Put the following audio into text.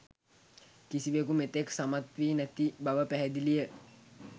කිසිවකු මෙතෙක් සමත් වී නැති බව පැහැදිලිය.